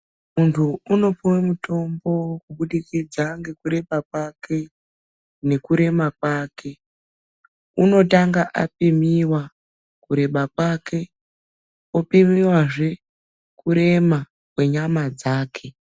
Muntu unopuwa mutombo kubudikidza ngekureba kwake nekurema kwake, unotanga apiwa kureba kwake opimiwazve kuremakwenyama dzake.